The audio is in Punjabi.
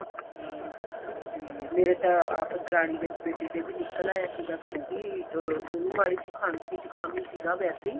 ਹਾਂ ਤੇ ਮੇਰੇ ਤਾਂ ਆਪ ਦਰਾਨੀ ਦੇ ਬੇਟੇ ਦੇ ਨਿਕਲ ਆਇਆ ਸੀਗਾ ਉਹ ਵੀ ਉਹਨੂੰ ਮਾੜੀ ਜੀ ਖਾਂਸੀ ਜ਼ੁਕਾਮ ਹੀ ਸੀਗਾ ਵੈਸੇ